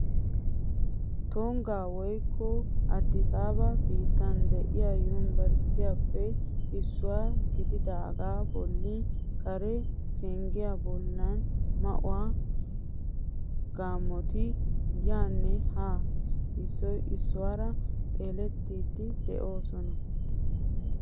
Tungga woyikko addisaaba biittan de'iya yumburshetuppe issiwa gididaagaa bolli kare penggiya bollan maa"u gaammoti yaanne haa issoy issuwaara xeelettiiddi de'oosona.